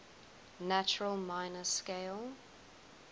natural minor scale